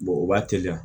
o b'a teliya